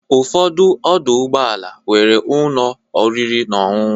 Ụfọdụ ọdọ ụgbọala nwere ụlọ oriri na ọṅụṅụ.